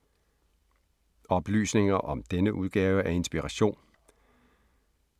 Oplysninger om denne udgave af Inspiration